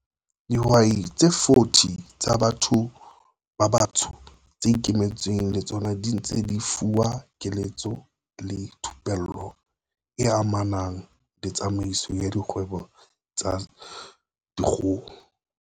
Dihwai tse 40 tsa batho ba batsho tse ikemetseng le tsona di ntse di fuwa keletso le thupello e amanang le tsamaiso ya dikgwebo tsa dikgoho.